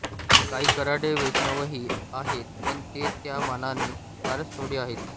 काही कऱ्हाडे वैष्णवही आहेत पण ते त्या मानाने फारच थोडे आहेत